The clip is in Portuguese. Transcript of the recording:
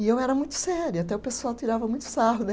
E eu era muito séria, até o pessoal tirava muito sarro, né?